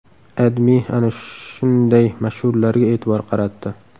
AdMe ana shunday mashhurlarga e’tibor qaratdi .